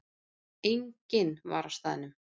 Enginn var á staðnum.